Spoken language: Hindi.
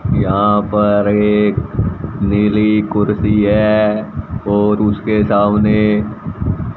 यहां पर एक नीली कुर्ती है और उसके सामने--